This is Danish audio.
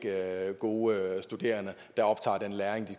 gode studerende